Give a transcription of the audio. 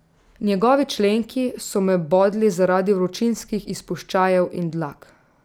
Njegovi členki so me bodli zaradi vročinskih izpuščajev in dlak.